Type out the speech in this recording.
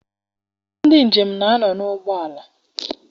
Ndị njem na-anọ n'ụgbọala.